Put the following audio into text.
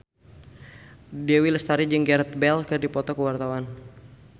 Dewi Lestari jeung Gareth Bale keur dipoto ku wartawan